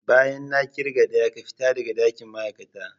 Bayan na kirga daya ka fita daga dakin ma'aikata.